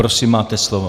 Prosím, máte slovo.